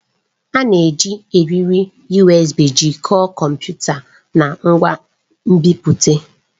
A na-eji eriri USB jikọọ kọmputa na ngwa nbipute.